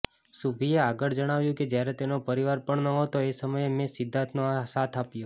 શુભીએ આગળ જણાવ્યુ્ં કે જ્યારે તેનો પરિવાર પણ નહોતો એ સમયે મેં સિદ્ધાર્થનો સાથ આપ્યો